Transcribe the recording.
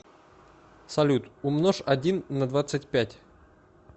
салют умножь один на двадцать пять